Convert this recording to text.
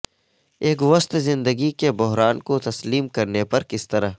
ایک وسط زندگی کے بحران کو تسلیم کرنے پر کس طرح